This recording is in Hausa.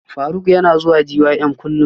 Faruk yana zuwa gym kullum